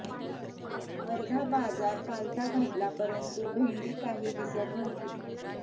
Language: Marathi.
अर्धा बाजार पालथा घातला परंतु भेंडी काही दिसत नव्हती